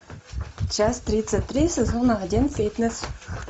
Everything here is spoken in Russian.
часть тридцать три сезон один фитнес